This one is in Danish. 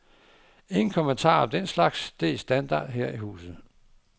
Ingen kommentarer om den slags, det er standard her i huset.